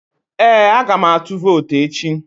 Ee, aga m atụ vootu echi